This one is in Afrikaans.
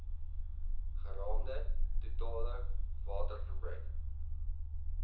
geraamde totale waterverbruik